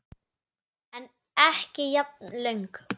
En ekki jafn löng.